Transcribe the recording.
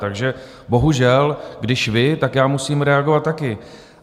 Takže bohužel, když vy, tak já musím reagovat taky.